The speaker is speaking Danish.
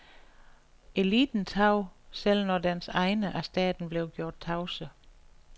Eliten tav, selv når dens egne af staten blev gjort tavse.